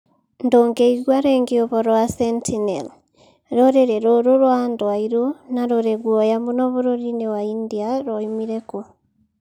Ndũngĩigua rĩngĩ ũhoro wa Sentinel: Rũrĩrĩ rũrũ rwa andũ airũ na rũrĩ guoya mũno bũrũri-inĩ wa India rwoimire kũ?